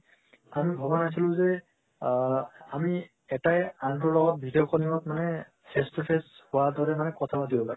আমি ভৱা নাছিলো যে আ আমি এটায়ে আনটোৰ লগত video call ত মানে face to face হুৱাৰ দৰে মানে কথা পাতিব পাৰি